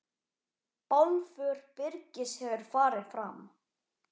Bálför Birgis hefur farið fram.